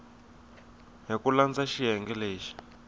hi ku landza xiyenge lexi